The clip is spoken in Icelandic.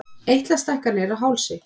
Eitlastækkanir á hálsi.